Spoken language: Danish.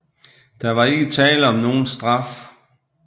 Der var ikke tale om nogen straf